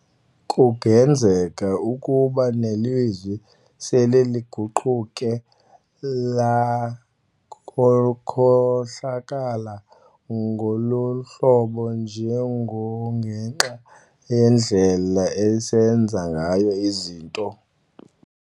Kungenzeka ukuba nelizwi sele liguquke lakhohlakala ngoluhlobo nje ngokungenxa yendlela esenza ngayo izinto.